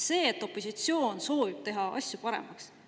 Opositsioon soovib teha asju paremaks.